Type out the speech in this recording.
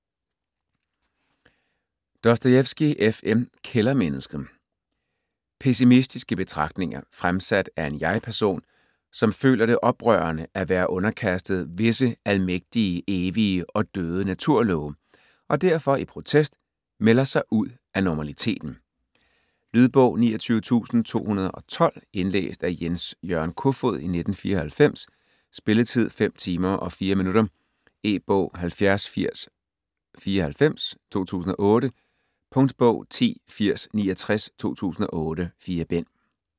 Dostojevskij, F. M.: Kældermennesket Pessimistiske betragtninger, fremsat af en jeg-person, som føler det oprørende at være underkastet "visse almægtige, evige og døde naturlove", og derfor i protest melder sig ud af normaliteten. Lydbog 29212 Indlæst af Jens-Jørgen Kofod, 1994. Spilletid: 5 timer, 4 minutter. E-bog 708094 2008. Punktbog 108069 2008. 4 bind.